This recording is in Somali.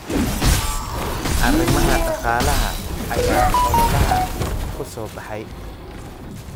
Arrimaha dhaqaalaha ayaa ololaha ku soo baxay.